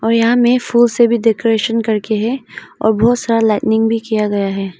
और यहां में फूल से भी डेकोरेशन करके है और बहोत सारा लाइटिंग भी किया गया है।